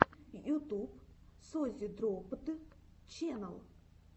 ютуб созидроппд ченнал